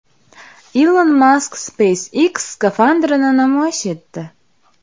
Ilon Mask SpaceX skafandrini namoyish etdi.